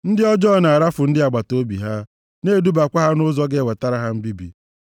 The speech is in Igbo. Ndị ọjọọ na-arafu ndị agbataobi ha, na-edubakwa ha nʼụzọ ga-ewetara ha mbibi.